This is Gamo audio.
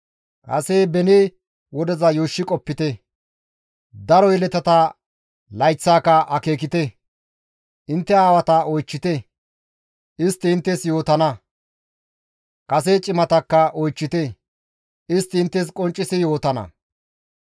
«Kase beni wodeza yuushshi qoppite; daro yeletata layththaaka akeekite; Intte aawata oychchite; istti inttes yootana; kase cimatakka oychchite; istti inttes qonccisi yootana.